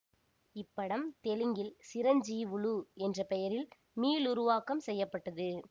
இப்படம் தெலுங்கில் சிரஞ்சீவுலு என்ற பெயரில் மீளுருவாக்கம் செய்ய பட்டது